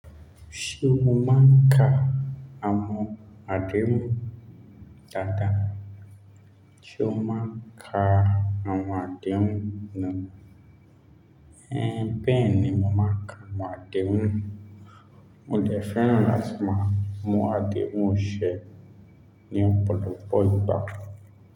Ṣé o máa ń ka àwọn àdéhùn dáadáa? Ṣé o máa ń ka àwọn àdéhùn na? Ẹ́n beẹ̀ní mo máa n ka àwọn àdéhùn. Mo dè fẹ́ràn láti máa mu àdéhùn ṣẹ ní ọ̀pọ̀lọpọ̀ ìgbà.